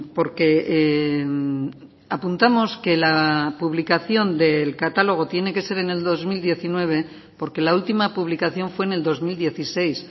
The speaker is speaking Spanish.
porque apuntamos que la publicación del catálogo tiene que ser en el dos mil diecinueve porque la última publicación fue en el dos mil dieciséis